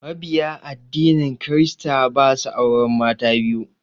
Mabiya addinin kirista ba su auren mata biyu.